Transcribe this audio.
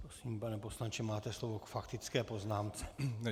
Prosím, pane poslanče, máte slovo k faktické poznámce.